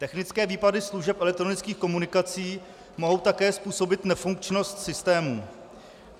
Technické výpady služeb elektronických komunikací mohou také způsobit nefunkčnost systému.